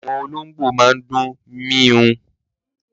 Àwọn olóngbò máa ń dún méééw